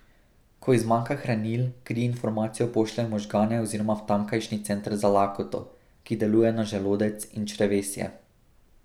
Ko ji zmanjka hranil, kri informacijo pošlje v možgane oziroma v tamkajšnji center za lakoto, ki deluje na želodec in črevesje.